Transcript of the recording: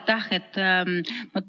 Aitäh!